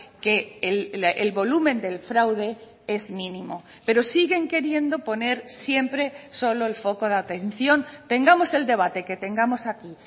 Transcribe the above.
que el volumen del fraude es mínimo pero siguen queriendo poner siempre solo el foco de atención tengamos el debate que tengamos aquí